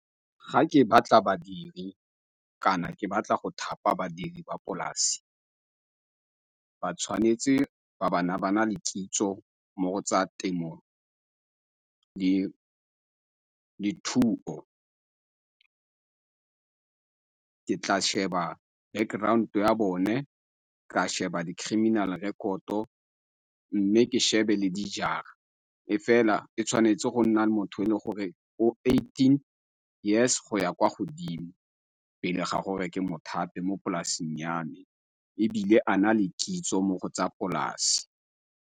Ga ke batla badiri kana ke batla go thapa badiri ba dipolase ba tshwanetse ba bana ba na le kitso mo go tsa temo, dithuo. Ke tla sheba background-e ya bone, ka sheba di-criminal rekoto mme ke shebe le dijara, e fela e tshwanetse go nna motho e le gore o eighteen years go ya kwa godimo pele ga gore ke mo thape mo polaseng ya me ebile a na le kitso mo go tsa polase.